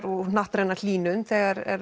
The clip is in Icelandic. og hnattræna hlýnun þegar